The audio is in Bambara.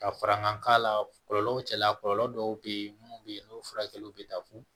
Ka farankan k'a la kɔlɔlɔ cɛla kɔlɔlɔ dɔw bɛ ye minnu bɛ yen n'o furakɛliw bɛ taa fo